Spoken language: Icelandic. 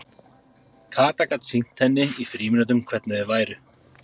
Kata gat sýnt henni í frímínútunum hvernig þau væru.